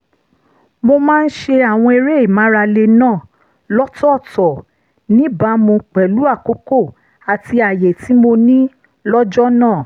mo máa ń ṣe àwọn eré ìmárale náà lọ́tọ̀ọ̀tọ̀ níbàámu pẹ̀lú àkókò àti àyè tí mo ní lọ́jọ́ náà